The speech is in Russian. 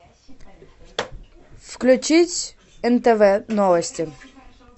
включить нтв новости